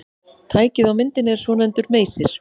Tækið á myndinni er svonefndur meysir.